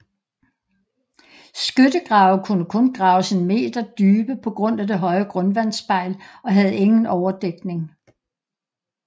Skyttegrave kunne kun graves en meter dybe på grund af det høje grundvandsspejl og havde ingen overdækning